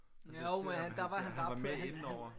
Jeg kan se om han han var med inde over